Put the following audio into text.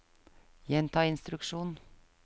gjenta instruksjon